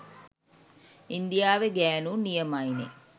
ඉන්දියාවෙ ගෑනු නියමයිනෙ